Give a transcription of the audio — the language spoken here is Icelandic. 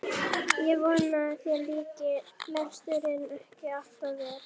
Ég vona að þér líki lesturinn ekki allt of vel.